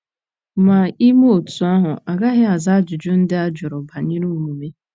Ma ime otú ahụ agaghị aza ajụjụ ndị a jụrụ banyere omume.